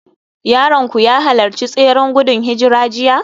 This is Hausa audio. Yaronku ya halarci tseren gudun hijira jiya?